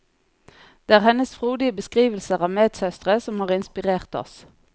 Det er hennes frodige beskrivelser av medsøstre som har inspirert oss.